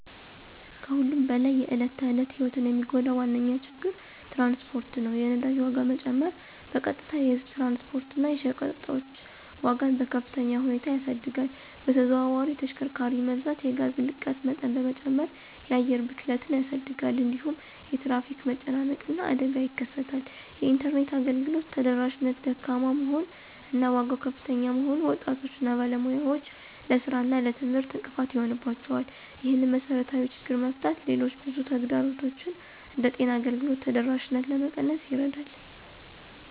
ከሁሉም በላይ የዕለት ተዕለት ሕይወትን የሚጎዳ ዋነኛ ችግር ትራንስፖርት ነው። የነዳጅ ዋጋ መጨመር በቀጥታ የህዝብ ትራንስፖርት እና የሸቀጦች ዋጋን በከፍተኛ ሁኔታ ያሳድጋል። በተዘዋዋሪ የተሽከርካሪ መብዛት የጋዝ ልቀት መጠን በመጨመር የአየር ብክለትን ያሳድጋል። እንዲሁም የትራፊክ መጨናነቅ እና አደጋ ይከሰታል። የኢንተርኔት አገልግሎት ተደራሽነት ደካማ መሆን እና ዋጋው ከፍተኛ መሆኑን ወጣቶች እና ባለሙያዎች ለሥራ እና ለትምህርት እንቅፋት ይሆንባቸዋል። ይህንን መሰረታዊ ችግር መፍታት ሌሎች ብዙ ተግዳሮቶችን እንደ ጤና አገልግሎት ተደራሽነት ለመቀነስ ይረዳል።